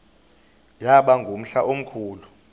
yaba ngumhla omkhulu